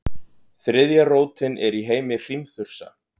þriðja rótin er í heimi hrímþursa